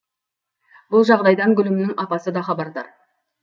бұл жағдайдан гүлімнің апасы да хабардар